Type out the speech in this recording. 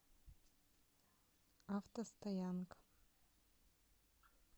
автостоянка